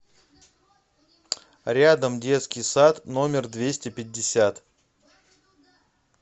рядом детский сад номер двести пятьдесят